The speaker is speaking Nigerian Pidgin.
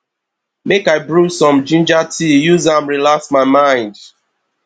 make i brew some ginger tea use am relax my mind